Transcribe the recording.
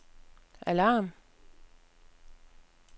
alarm